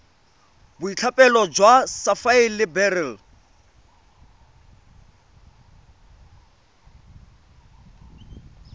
boitlhophelo jwa sapphire le beryl